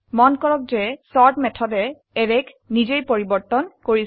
মন কৰক যে চৰ্ট মেথডে অ্যাৰেক নিজেই পৰিবৰ্তন কৰিছে